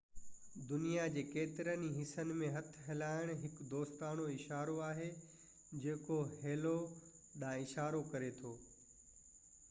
دنيا جي ڪيترن ئي حصن ۾ هٿ هلائڻ هڪ دوستاڻو اشارو آهي جيڪو هيلو ڏانهن اشارو ڪري ٿو